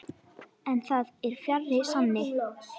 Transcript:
En það er fjarri sanni.